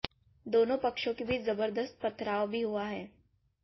दोनों पक्षों के बीच जबरदस्त पथराव भी हुआ है